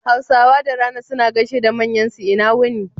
Hausawa da rana suna gaishe da manyan su, ina wuni